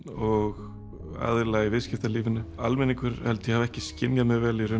og aðila í viðskiptalífinu almenningur held ég hafi ekki skynjað mjög vel